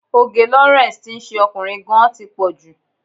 Òge Lawrence tí ń ṣe ọkùnrin gan-an tí pọ̀ jù.